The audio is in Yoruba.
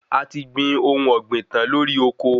A ti gbìn ohun ọ̀gbìn tan lórí oko